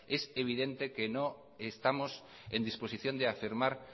es evidente que no estamos en disposición de afirmar